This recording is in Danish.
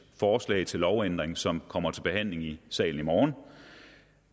forslag til lovændring som kommer til behandling i salen i morgen